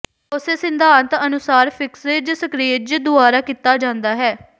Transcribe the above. ਉਸੇ ਸਿਧਾਂਤ ਅਨੁਸਾਰ ਫਿਕਸਿਜ ਸਕ੍ਰੀਇਜ਼ ਦੁਆਰਾ ਕੀਤਾ ਜਾਂਦਾ ਹੈ